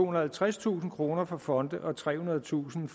og halvtredstusind kroner for fonde og trehundredetusind